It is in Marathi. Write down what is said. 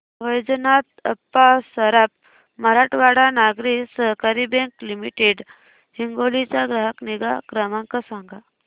वैजनाथ अप्पा सराफ मराठवाडा नागरी सहकारी बँक लिमिटेड हिंगोली चा ग्राहक निगा क्रमांक सांगा